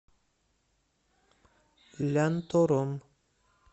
лянтором